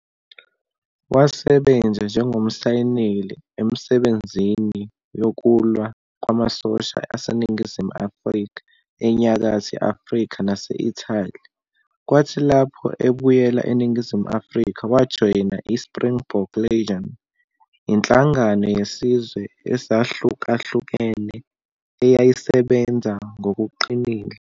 Wasebenza njengoMsayineli emisebenzini yokulwa kwamasosha aseNingizimu Afrika eNyakatho Afrika nase-Italy, kwathi lapho ebuyela eNingizimu Afrika wajoyina i-Springbok Legion, inhlangano yezizwe ezahlukahlukene eyayisebenza ngokuqinile.